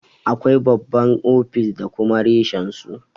Akwai babban ofis da kuma reshen su.